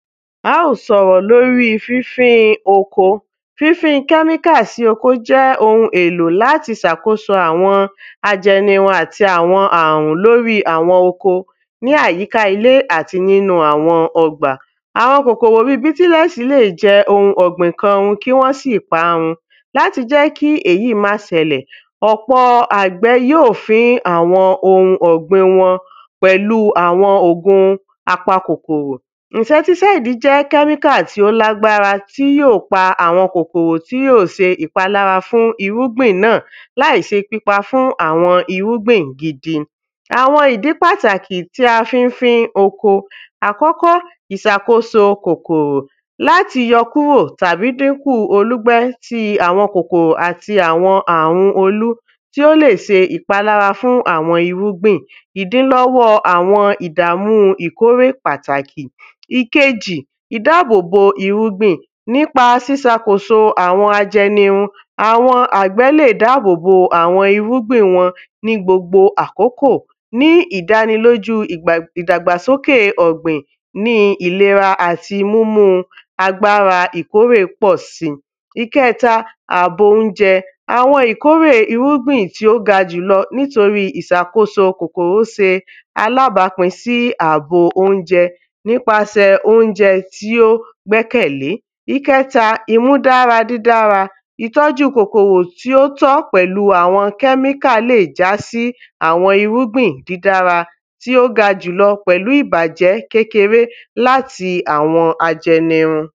a óò sọ̀rọ̀ lóri fínfín oko fín fín kẹ́míkà sí oko jẹ́ ohun èlò láti ṣàkóso àwọn ajẹnirun àti àwọn àrùn lóri àwọn oko ní àyíká ilé àti nínu àwọn ọgbà àwọn kòkòrò bíi tílèsì lẹ̀ jẹ ohun ọ̀gbìn kan run kí wọ́n ṣì paá run, láti jẹ́ kí èyí má ṣẹlẹ̀, ọ̀pọ̀ àgbè yóò fín ohun ọ̀gbin wọn pẹ̀lú àwọn ògùn apa kòkòrò, ìǹsẹ́tísáìdì jẹ́ kẹ́míkà tí yóò pa àwọn kòkòrò tí yóò ṣe ìpalára fún irúgbìn náà láìṣe pípa fún àwọn irúgbìn gidi. àwọn idi pataki ti a fi n fín oko ikini Ìṣàkóso kòkòrò, lati yọ kúrò tàbí dínkù olùgbé ti áwọn kòkòrò ati àwọn àrun olú tí ó lè ṣe ìpalára fún àwọn irúgbìn, ìdílọ́wọ́ àwọn ìdààmú ìkórè pàtàkì ìkejì ìdáàbò bo irúgbìn nípa ìṣàkóso àwọn ajẹnirun, àwọn àgbẹ̀ lè dáàbò bo àwọn irúgbìn wọn ní gbogbo àkọ́kọ̀ ní ìdánilójú ìdàgbàsókè ọ̀gbìn ní ìlera àti múmú agbára ìkórè pọ̀ si ìkẹta ààbò oúnjẹ, àwọn ìkórè irúgbìn tí ó ga jùlọ nítorí ìṣàkóso kòkòrò ṣe alábápín sí ààbò oúnjẹ nípasẹ̀ oúnjẹ tí ó gbẹ́kẹ̀lé ìkẹta ìmúdára dídára ìtọ́ju kòkòrò tí ó tọ́ pẹ̀lu àwọn kẹ́míkà lè já sí àwọn irúgbìn dídára tí ó ga jùlọ pẹ̀lú ìbàjẹ́ kékeré látí àwọn ajẹnirun